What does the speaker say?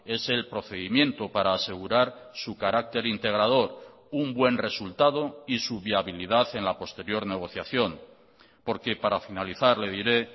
es el procedimiento para asegurar su carácter integrador un buen resultado y su viabilidad en la posterior negociación porque para finalizar le diré